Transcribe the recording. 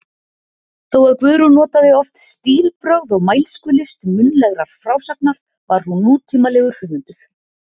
Þó að Guðrún notaði oft stílbrögð og mælskulist munnlegrar frásagnar var hún nútímalegur höfundur.